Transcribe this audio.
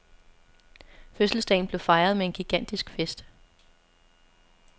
Fødselsdagen blev fejret med en gigantisk fest.